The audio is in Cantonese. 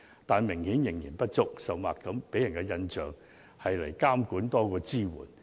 但是，支援明顯不足，甚或令人感到監管多於支援。